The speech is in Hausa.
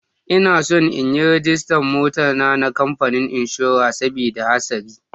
Ina son in ragista mota na a kamfani inshora sabida hasari.